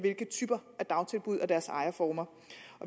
type af dagtilbud og deres ejerformer